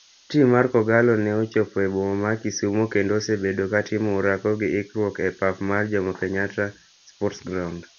Tim mar kogallo ne ochopo e boma ma kisumo kendo osebedo ka timo orako gi ikruok e pap mar Jommo Kenyatta sports ground.